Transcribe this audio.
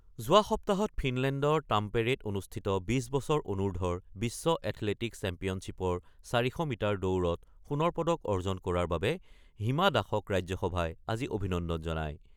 যোৱা সপ্তাহত ফিনলেণ্ডৰ টাম্পেৰেত অনুষ্ঠিত ২০ বছৰ অনুৰ্ধৰ বিশ্ব এথলেটিকছ চেম্পিয়নশ্বিপৰ ৪০০ মিটাৰ দৌৰত সোণৰ পদক অৰ্জন কৰাৰ বাবে হিমা দাসক ৰাজ্যসভাই আজি অভিনন্দন জনায়।